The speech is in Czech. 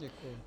Děkuji.